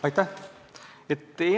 Aitäh!